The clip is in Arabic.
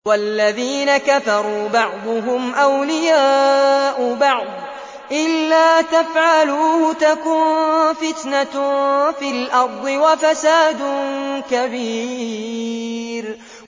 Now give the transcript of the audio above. وَالَّذِينَ كَفَرُوا بَعْضُهُمْ أَوْلِيَاءُ بَعْضٍ ۚ إِلَّا تَفْعَلُوهُ تَكُن فِتْنَةٌ فِي الْأَرْضِ وَفَسَادٌ كَبِيرٌ